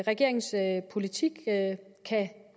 regeringens politik kan